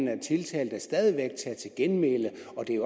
kan tiltalte stadig væk tage til genmæle